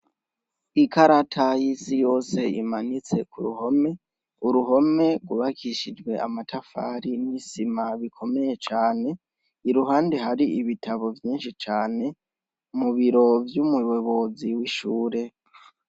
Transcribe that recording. Ikarata y'isi yose imanitse k’uruhome, uruhome rwubakishijwe amatafari n'isima bikomeye cane, iruhande hari ibitabo vyinshi cane, mu biro vy'umuyobozi w'ishure